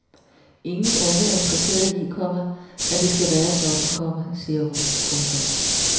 Ingen unge er interesseret i, komma at det skal være sådan, komma siger hun. punktum